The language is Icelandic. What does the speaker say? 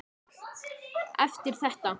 Eftir þetta.